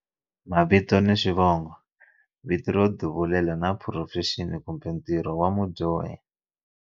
Mavito ni xivongo, vito ro duvulela na phurofexini kumbe ntirho wa mudyohi.